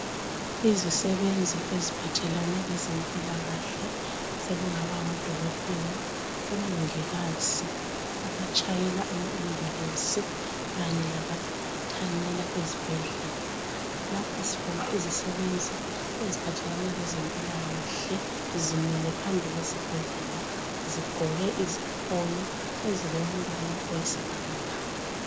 Izisebenzi eziphathelane lezempilakahle, sekungaba ngodokotela, omongikazi, abatshayela ama ambulensi kanye labathanyela ezibhedlela. Lapha sibona izisebenzi eziphathelane lezempilakahle zimile phambi kwesibhedlela zigqoke izifonyo ezilombala oyisibhakabhaka.